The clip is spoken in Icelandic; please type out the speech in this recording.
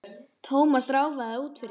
Thomas ráfaði út fyrir.